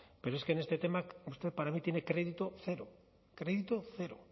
pero es que en este tema usted para mí tiene crédito cero crédito cero